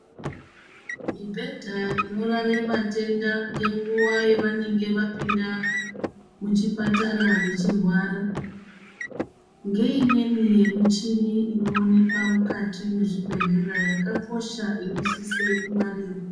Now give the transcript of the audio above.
Mibhedha inorara vatenda ngenguva yevanenge vapinda muchipatara vechirwara, ngeimweni michini inoonekwa mukati mwezvibhedhlera, yakakosha, inosise kungwarirwa.